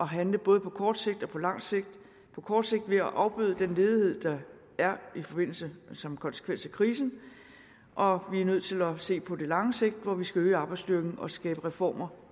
handle både på kort sigt og på langt sigt på kort sigt ved at afbøde den ledighed der er som konsekvens af krisen og vi er nødt til at se på det lange sigt hvor vi skal øge arbejdsstyrken og skabe reformer